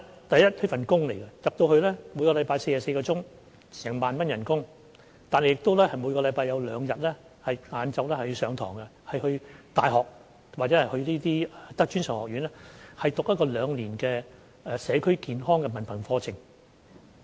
第一，這是一份工作，每周工作44小時，月薪 10,000 元，每周亦有兩天下午要到大學或專上學院上課，修讀兩年制的社區健康文憑課程。